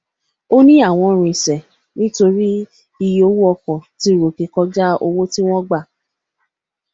òní àwọn rinsẹ nítorí iye owó ọkọ tí ròkè kọjá owó tí wón gbà